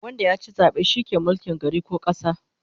Wanda yachi zabe shi ke mulkin gari ko kasa